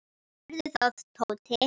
Gerðu það, Tóti!